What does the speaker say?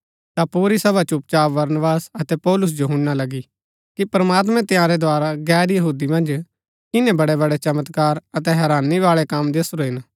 ता पुरी सभा चुपचाप बरनबास अतै पौलुस जो हुणना लगी कि प्रमात्मैं तंयारै द्धारा गैर यहूदी मन्ज किनै बड़ैबड़ै चमत्कार अतै हैरानी बाळै कम दसुरै हिन